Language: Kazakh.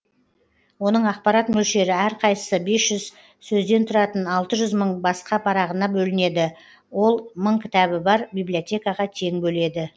оның ақпарат мөлшері әрқайсысы бес жүз сөзден тұратын алты жүз мың басқа парағына бөлінеді ол мың кітабы бар бибилиотекаға тең бөледі